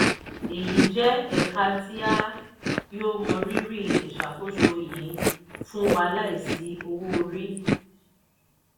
eyi jẹ eka ti a yoo mọrírì iṣakoso yii fun wa laisi owo-ori.